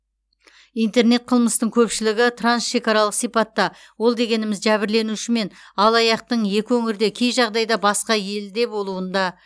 интернет қылмыстың көпшілігі трансшекаралық сипатта ол дегеніміз жәбірленуші мен алаяқтың екі өңірде кей жағдайда басқа елде болуында